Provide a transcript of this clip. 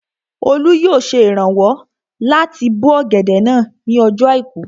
Olú yóò ṣe ìrànwọ́ láti bó ọ̀gẹ̀dẹ̀ náà ní ọjọ́ àìkú